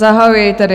Zahajuji tedy...